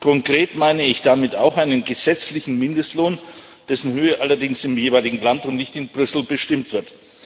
Konkret meine ich damit auch einen gesetzlichen Mindestlohn, dessen Höhe allerdings im jeweiligen Land und nicht in Brüssel bestimmt wird.